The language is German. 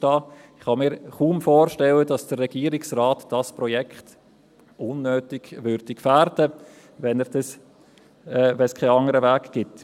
Ich kann mir kaum vorstellen, dass der Regierungsrat dieses Projekt unnötig gefährden würde, wenn es keinen anderen Weg gibt.